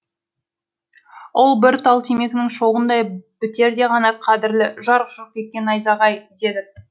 ол бір тал темекінің шоғындай бітерде ғана қадірлі жарқ жұрқ еткен найзағай дедік